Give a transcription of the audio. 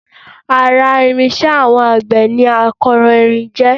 Ara irinṣẹ́ àwọn àgbẹ̀ ni akọ́rọ́ jẹ́